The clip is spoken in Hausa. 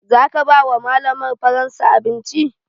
Za ka ba wa malamar faransa abinci?